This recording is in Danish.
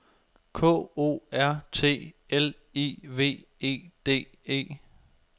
K O R T L I V E D E